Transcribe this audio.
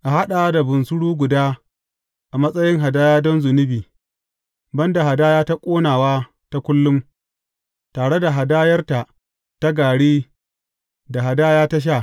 A haɗa da bunsuru guda a matsayin hadaya don zunubi, ban da hadaya ta ƙonawa ta kullum, tare da hadayarta ta gari da hadaya ta sha.